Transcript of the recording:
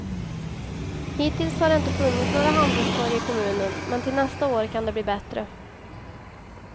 Hittills har det inte funnits några handelstorg i kommunen, men till nästa år kan det bli bättre.